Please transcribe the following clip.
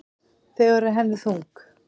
Þau eru henni þung.